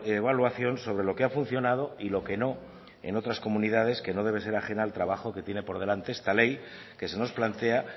evaluación sobre lo que ha funcionado y lo que no en otras comunidades que no debe ser ajena al trabajo que tiene por delante esta ley que se nos plantea